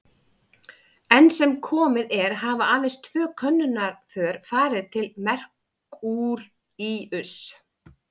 Enn sem komið er hafa aðeins tvö könnunarför farið til Merkúríuss.